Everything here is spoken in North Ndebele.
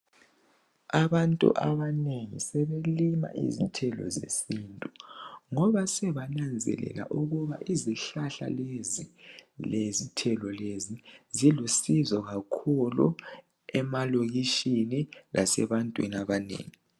Abantu abanengi sebelima izithelo zesintu ngoba sebananzelela ukuba izihlahla lezi lezithelo lezi zilusizo kakhulu emalokishini lasebantwini abanengi